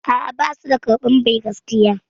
A'a, basu da karɓan ba'i gaskiya